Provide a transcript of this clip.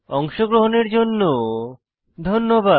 অংশগ্রহণের জন্য ধন্যবাদ